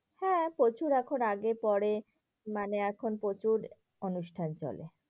হ্যাঁ প্রচুর এখন আগে পরে, মানে এখন প্রচুর অনুষ্ঠান চলে।